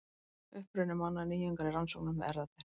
Uppruni manna: Nýjungar í rannsóknum með erfðatækni.